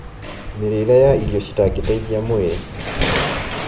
Mĩrĩĩre ya irio citangĩteithia mwĩrĩ